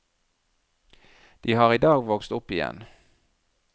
De har i dag vokst opp igjen.